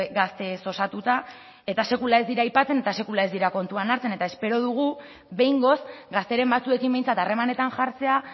gazteez osatuta eta sekula ez dira aipatzen eta sekula ez dira kontuan hartzen eta espero dugu behingoz gazteren batzuekin behintzat harremanetan jartzea